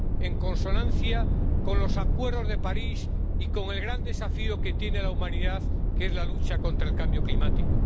en consonancia con los acuerdos de París y con el gran desafío que tiene la humanidad, que es la lucha contra el cambio climático